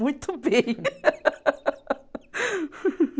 Muito bem.